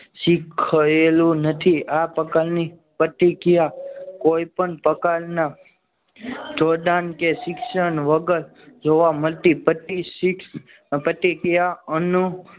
નથી આ પ્રકારની પ્રતિક્રિયા કોઈપણ પ્રકારના જોડાણ કે શિક્ષણ વગર જોવા મળતી પ્રતી શીખ પ્રતિક્રિયા અને